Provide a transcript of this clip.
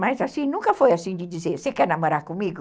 Mas assim, nunca foi assim de dizer, você quer namorar comigo?